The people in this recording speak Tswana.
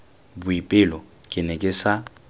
boipelo ke ne ke sa